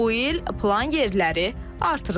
bu il plan yerləri artırılıb.